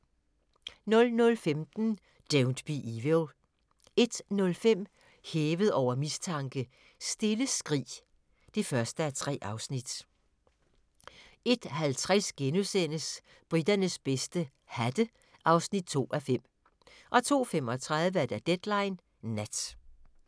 00:15: Don't Be Evil 01:05: Hævet over mistanke: Stille skrig (1:3) 01:50: Briternes bedste - hatte (2:5)* 02:35: Deadline Nat